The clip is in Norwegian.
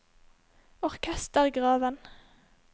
orkestergraven